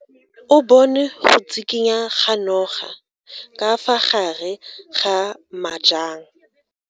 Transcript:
O bone go tshikinya ga noga ka fa gare ga majang.